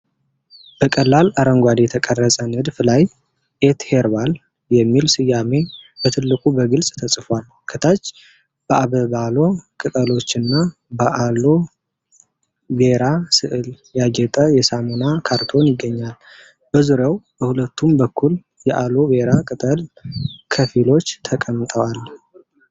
በቀላል አረንጓዴ የተቀረጸ ንድፍ ላይ "ኢትሄርባል" የሚል ስያሜ በትልቁ በግልጽ ተጽፏል። ከታች በአበባሎ ቅጠሎችና በአሎ ቬራ ሥዕል ያጌጠ የሳሙና ካርቶን ይገኛል። በዙሪያው በሁለቱም በኩል የአሎ ቬራ ቅጠል ክፍሎች ተቀምጠዋል።